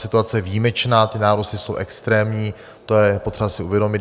Situace je výjimečná, ty nárůsty jsou extrémní, to je potřeba si uvědomit.